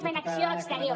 fent acció exterior